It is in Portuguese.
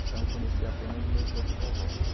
Então eu conheci apenas meus outros avós.